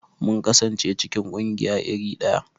Mun kasance cikin ƙungiya iri daya.